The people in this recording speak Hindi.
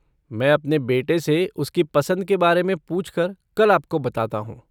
मैं अपने बेटे से उसकी पसंद के बारे में पूछकर कल आपको बताता हूँ।